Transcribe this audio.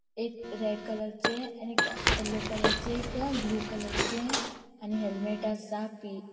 एक रेड कलरचे आणि एक येल्लो कलरचे एक ब्लू कलरचे आणि हेल्मेट असा पी.